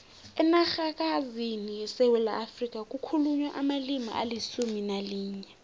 enarhakazini yesewula afrika kukhulunywa amalimi alisumu nalinye